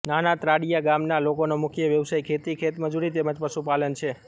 નાનાત્રાડીયા ગામના લોકોનો મુખ્ય વ્યવસાય ખેતી ખેતમજૂરી તેમ જ પશુપાલન છે